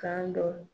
Kan dɔ